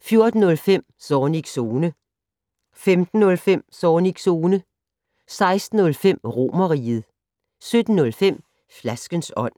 14:05: Zornigs Zone 15:05: Zornigs Zone 16:05: Romerriget 17:05: Flaskens ånd